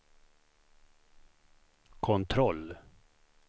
kontroll